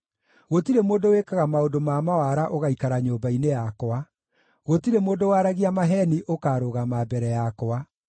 Gũtirĩ mũndũ wĩkaga maũndũ ma mawara ũgaikara nyũmba-inĩ yakwa; gũtirĩ mũndũ waragia maheeni ũkaarũgama mbere yakwa.